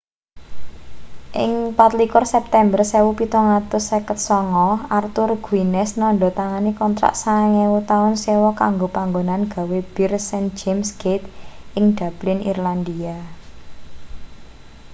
ing 24 september 1759 arthur guinness nandha tangani kontrak 9.000 taun sewa kanggo panggonan gawe bir st james' gate ing dublin irlandia